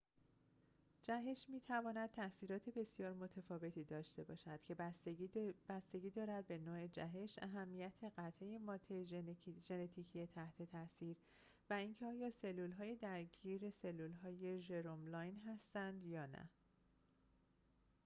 جهش می‌تواند تأثیرات بسیار متفاوتی داشته باشد که بستگی دارد به نوع جهش اهمیت قطعه ماده ژنتیکی تحت تأثیر و اینکه آیا سلولهای درگیر سلولهای ژرم لاین هستند یا نه